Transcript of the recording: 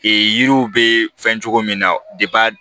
Ee yiriw bɛ fɛn cogo min na